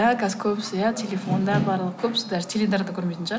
иә қазір көбісі иә телефонда барлығы көбісі даже теледидар да көрмейтін шығар